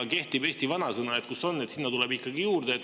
Kehtib eesti vanasõna, et kus on, sinna tuleb juurde.